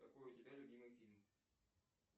какой у тебя любимый фильм